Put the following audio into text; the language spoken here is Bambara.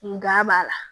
Nka b'a la